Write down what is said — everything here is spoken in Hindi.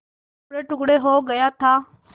टुकड़ेटुकड़े हो गया था